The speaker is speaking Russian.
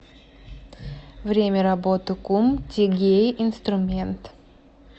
время работы кум тигей инструмент